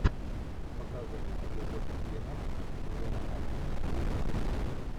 показывай эпизод двенадцать сезона один вице президент